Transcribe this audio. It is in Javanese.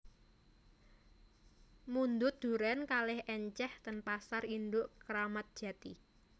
Mundhut duren kalih enceh ten pasar induk Kramat Jati